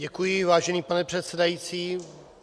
Děkuji, vážený pane předsedající.